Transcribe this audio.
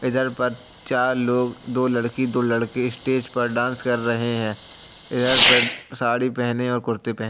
इधर पर चार लोग दो लड़की दो लड़के स्टेज पर डांस कर रहे हैं। इधर पर साड़ी पहने और कुर्ते पह --